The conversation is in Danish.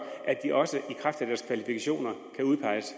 at de også i kraft af deres kvalifikationer kan udpeges